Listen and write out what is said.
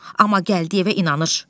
Amma gəldi evə inanır.